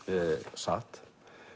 satt